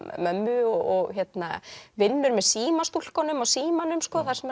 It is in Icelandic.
mömmu og vinnur með símastúlkunum á símanum þar sem